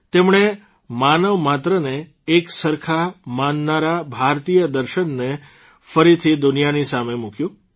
તેમણે માનવમાત્રને એકસરખા માનનારા ભારતીય દર્શનને ફરીથી દુનિયાની સામે મૂક્યું